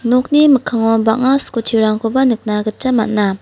nokni mikkango bang·a skuti rangkoba nikna gita man·a.